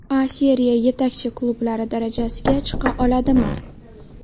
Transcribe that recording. A Seriya yetakchi klublari darajasiga chiqa oladimi?